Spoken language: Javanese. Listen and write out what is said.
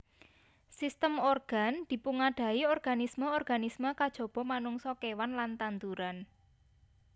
Sistem organ dipungadahi organisme organisme kajaba manungsa kewan lan tanduran